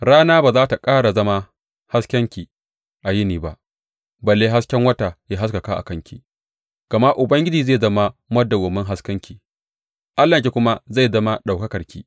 Rana ba za tă ƙara zama haskenki a yini ba, balle hasken wata ya haskaka a kanki, gama Ubangiji zai zama madawwamin haskenki, Allahnki kuma zai zama ɗaukakarki.